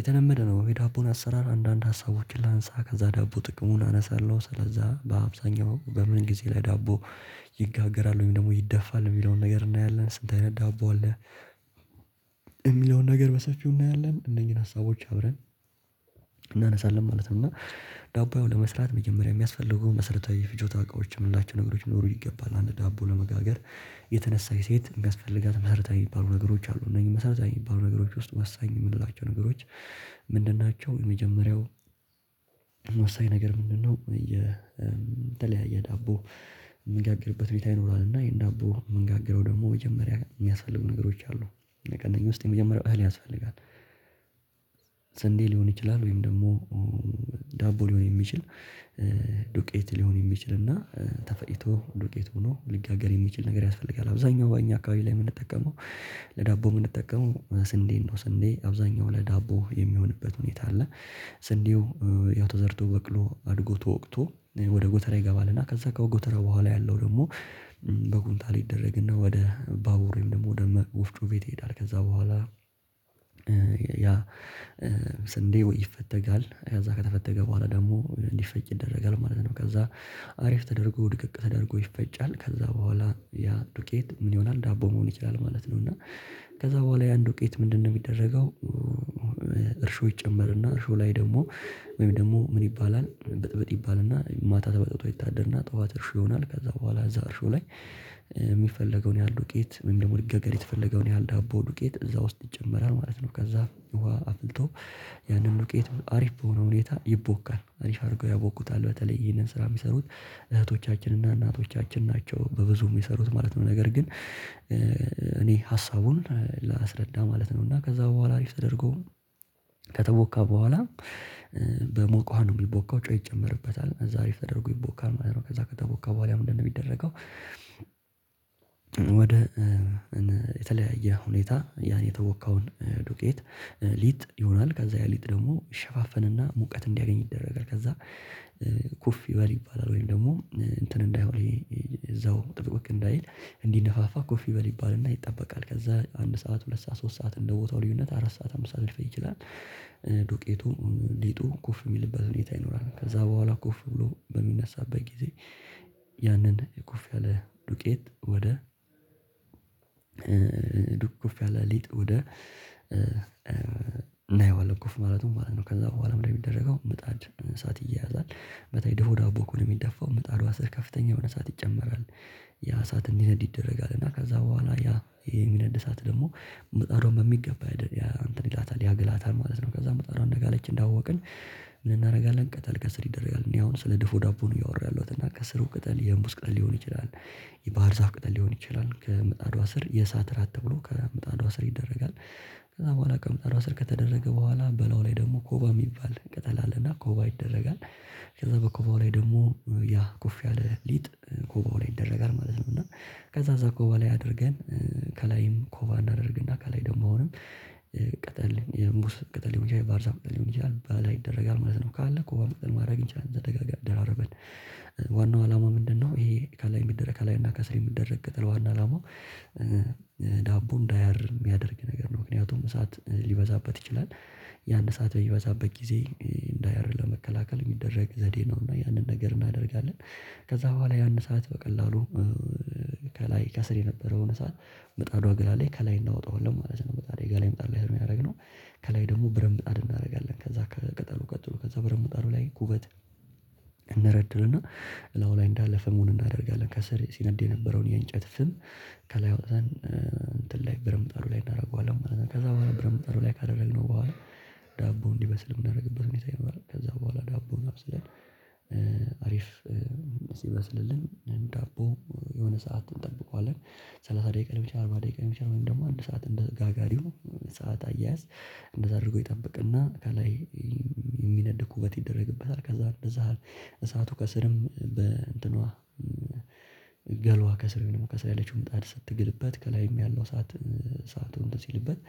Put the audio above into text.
የተለመደ ነው የዳቦን አሰራር አንዳንድ ሀሳቦችን ላንሳ ከዛ ዳቦ ጥቅሙን አነሳለሁ ስለዛ በአብዛኛው በምን ጊዜ ላይ ዳቦ ይጋገራል ወይም ደግሞ ይደፋል፤ የሚለውን ነገር እናያለን ስንት አይነት ዳቦ አለ? የሚለውን ነገር በሰፊው እናያለን፤ እነኚህን ሀሳቦች አብረን እናነሳለን ማለት ነው እና ዳቦ ያው ለመስራት መጀመሪያ የሚያስፈልገው መሰረታዊ የፍጆታ እቃዎች የምንላቸው ነገሮች ሊኖሩ ይገባል አንድ ዳቦ ለመጋገር የተነሳች ሴት የሚያስፈልጋት መሰረታዊ የሚባሉ ነገሮች አሉ እነዚህ መሰረታዊ የሚባሉ ነገሮች ውስጥ ወሳኝ የምንላቸው ነገሮች ምንድን ናቸው የመጀመሪያው ወሳኝ ነገር ምንድነው የተለያየ ዳቦ ምንጋገርበት ሁኔታ ይኖራል እና ይሄን ዳቦ ምንጋገረው ደግሞ መጀመሪያ የሚያስፈልጉ ነገሮች አሉ ከእነኝህ ውስጥ የመጀመሪያው እህል ያስፈልጋል ስንዴ ሊሆን ይችላል ወይም ደግሞ ዳቦ ሊሆን የሚችል ዱቄት ሊሆን የሚችል እና ተፈጭቶ ዱቄት ሆኖ ሊጋገር የሚችል ነገር ያስፈልጋል አብዛኛው እኛ አካባቢ ላይ የምንጠቀመው ለዳቦ የምንጠቀመው ስንዴን ነው። ስንዴ አብዛኛው ለዳቦ የሚሆንበት ሁኔታ አለ። ስንዴው ያው ተዘርቶ በቅሎ አድጎ ተወቅቶ ወደ ጎተራ ይገባልና ከዛ ከጎተራ በኋላ ያለው ደግሞ በኩንታ ይደረግና ወደ ባቡር ወይም ደግሞ ወደ ወፍጮ ቤት ይሄዳል ከዛ በኋላ ያ ስንዴ ወይ ይፈተጋል ከዛ ከተፈተገ በኋላ ደግሞ እንዲፈጭ ይደረጋል ማለት ነው፤ ከዛ አሪፍ ተደርጎ ድቅቅ ተደርጎ ይፈጫል ከዛ በኋላ ያ ዱቄት ምን ይሆናል ዳቦ መሆን ይችላል ማለት ነው እና ከዛ በኋላ ያን ዱቄት ምንድነው የሚደረገው እርሾ ይጨመርና እርሾ ላይ ደግሞ ወይም ደግሞ ምን ይባላል ብጥብጥ ይባልና ማታ ተበጥብጦ ይታደርና ጠዋት እርሾ ይሆናል ከዛ በኋላ እዛ እርሾ ላይ የሚፈለገውን ያህል ዱቄት ወይም ደግሞ ሊጋገር የተፈለገውን ያህል ዳቦ ዱቄት እዛ ውስጥ ይጨመራል ማለት ነው፤ ከዛ ውሃ አፍልቶ ያንን ዱቄት አሪፍ በሆነ ሁኔታ ይቦካል አሪፍ አድርገው ያቦኩታል በተለይ ይህንን ስራ የሚሰሩት እህቶቻችን እና እናቶቻችን ናቸው በብዙ የሚሰሩት ማለት ነው ነገር ግን እኔ ሀሳቡን ላስረዳ ማለት ነው እና ከዛ በኋላ አሪፍ ተደርጎ ከተቦካ በኋላ በሞቀ ውሃ ነው የሚቦካው ጨው ይጨመርበታል ከዛ አሪፍ ተደርጎ ይቦካል ማለት ነው ከዛ ከተቦካ በኋላ ምንድነው የሚደረገው ወደ የተለያየ ሁኔታ ያን የተወካውን ዱቄት ሊጥ ይሆናል ከዛ ያሊጥ ደግሞ ይሸፋፈንና ሙቀት እንዲያገኝ ይደረጋል ከዛ ኩፍ ይበል ይባላል ወይም ደግሞ እንትን እንዳይሆን እዛው ጥብቅ እንዳይል እንዲነፋፋ ኩፍ ይበል ይባልና ይጠበቃል ከዛ አንድ ሰዓት ሁለት ሰዓት ሶስት ሰዓት እንደ ቦታው ልዩነት አራት ሰዓት አምስት ሰዓት ሊፈጅ ይችላል። ዱቄቱ ሊጡ ኩፍ የሚልበት ሁኔታ ይኖራል ከዛ በኋላ ኩፍ ብሎ በሚነሳበት ጊዜ ያንን ኩፍ ያለ ዱቄት ወደ ዱኩፍ ያለ ሊጥ ወደ እናየዋለን ኩፍ ማለቱን ማለት ነው ከዛ በኋላ ምንድንነው የሚደረገው ምጣድ እሳት ይያያዛል በተለይ ድፎ ዳቦ ከሆነ የሚደፋው ምጣዷ ስር ከፍተኛ የሆነ እሳት ይጨመራል ያ እሳት እንዲነድ ይደረጋል እና ከዛ በኋላ ያ የሚነድ እሳት ደግሞ ምጣዷን በሚገባ ያእንተን ይላታል ያግላታል ማለት ነው ከዛ ምጣዷ እንደጋለች እንዳወቅን ምን እናደርጋለን ቅጠል ከስር ይደረጋል እኔ አሁን ስለ ድፉ ዳቦ ነው እያወራሁ ያለሁት እና ከስሩ ቅጠል የሙዝ ቅጠል ሊሆን ይችላል የባህር ዛፍ ቅጠል ሊሆን ይችላል ከምጣዷ ስር የእሳት እራት ተብሎ ከምጣዷ ስር ይደረጋል ከዛ በኋላ ከምጣዷ ስር ከተደረገ በኋላ በላዬዋ ላይ ደግሞ ኮባ የሚባል ቅጠል አለና ኮባ ይደረጋል ከዛ በኮባው ላይ ደግሞ ያ ኩፍ ያለ ሊጥ ኮባው ላይ ይደረጋል ማለት ነው እና ከዛ እዛ ኮባ ላይ አድርገን ከላይም ኮባ እናደርግና ከላይ ደግሞ አሁንም ቅጠል የሙዝ ቅጠል ሊሆን ይችላል የባህርዛፍ ቅጠል ሊሆን ይችላል ባላ ይደረጋል ማለት ነው ካለ ኮባ ቅጠል ማድረግ እንችላለን ደራርበን ዋናው አላማ ምንድነው ይሄ ከላይ የሚደረግ ከላይ እና ከስር የሚደረግ ቅጥል ዋና አላማው ዳቦ እንዳያር የሚያደርግ ነገር ነው ምክንያቱም እሳት ሊበዛበት ይችላል ያን እሳት በሚበዛበት ጊዜ እንዳያር ለመከላከል የሚደረግ ዘዴ ነውና ያንን ነገር እናደርጋለን ከዛ በኋላ ያን እሳት በቀላሉ ከላይ ከስር የነበረውን እሳት ምጣዷ ግላለች ከላይ እናወጣዋለን ማለት ነው ምጣዷ የጋለ ምጣድ ነው የሚ ያደርግነው ከላይ ደግሞ ብረትምጣድ እናደርጋለን ከዛ ከቅጠሉ ቀጥሎ ከዛ ብርምጣዱ ላይ ኩበት እንደረድርና እላዩ ላይ እንዳለ ፍሙን እናደርጋለን ከሰር ሲነድ የነበረውን የእንጨት ፍም ከላይ አወጥተን እንትን ላይ ብረትምጣዱ ላይ እናደርገዋለን ከዛ በኋላ ብረትምጣዱ ላይ ካደረግነው በኋላ ዳቦ እንዲበስል የምናደርግበት ሁኔታ ይኖራል ከዛ በኋላ ዳቦውን አብስለን አሪፍ ሲበስልልን ዳቦ የሆነ ሰዓት እንጠብቀዋለን ሰላሳ ደቂቃ ሊሆን ይችላል አርባ ደቂቃ ሊሆን ይችላል ወይም ደግሞ አንድ ሰዓት እንደ ጋጋዲው ሰዓት አያያዝ እንደዛ አድርጎ ይጠብቅና ከላይ የሚነድ ኩበት ይደረግበታል ከዛ እንደዛ እሳቱ ከስርም በእንትኗ ገሏ ከስር የሚሆነው ከስር ያለችው ምጣድ ስትግልበት ከላይም ያለው እሳት ሰአቱን እንትን ሲልበት